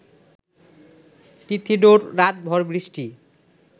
তিথিডোর রাত ভ’র বৃষ্টি